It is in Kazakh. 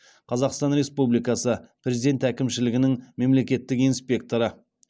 қазақстан республикасы президент әкімшілігінің мемлекеттік инспекторы